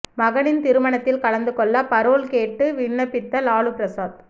மகனின் திருமணத்தில் கலந்து கொள்ள பரோல் கேட்டு விண்ணப்பித்த லாலு பிரசாத்